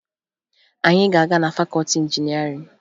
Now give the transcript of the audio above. Anyị ga-aga na fakọọti injinịarịn